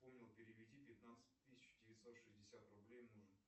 переведи пятнадцать тысяч девятьсот шестьдесят рублей мужу